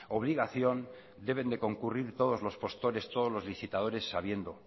obligación deben de concurrir todos los postores todos los licitadores sabiendo